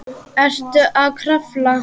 Er að krafla.